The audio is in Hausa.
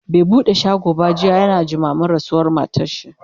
bai buɗe shago ba jiya, yana jimamin rasuwar matarshi